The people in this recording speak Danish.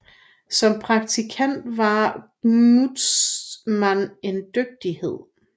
Som praktiker var Gnudtzmann en dygtighed